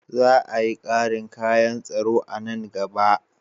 Za a yi ƙarin kayan tsaro a nan gaba.